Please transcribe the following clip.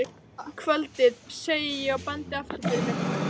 Kvöldið, segi ég og bendi aftur fyrir mig.